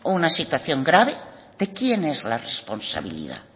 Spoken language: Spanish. una situación grave de quién es la responsabilidad